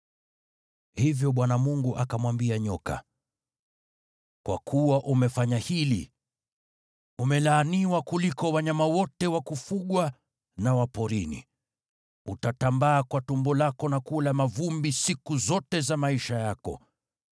Hivyo Bwana Mungu akamwambia nyoka, “Kwa kuwa umefanya hili, “Umelaaniwa kuliko wanyama wote wa kufugwa na wa porini! Utatambaa kwa tumbo lako na kula mavumbi siku zote za maisha yako.